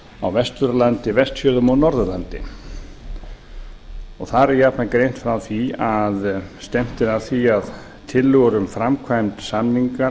á vesturlandi vestfjörðum og norðurlandi þar er jafnan greint frá því að stefnt er að því að tillögur um framkvæmd